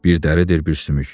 Bir dəridir, bir sümük.